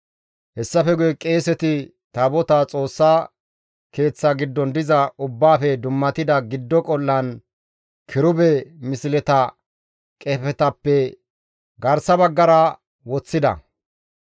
Hessafe guye qeeseti Taabotaa Xoossa Keeththa giddon diza Ubbaafe dummatida giddo qol7aan kirube misleta qefetappe garsa baggara woththida.